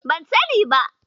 Ban sani ba.